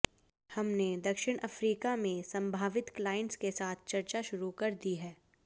हमने दक्षिण अफ्रीका में संभावित क्लाइंट्स के साथ चर्चा शुरू कर दी है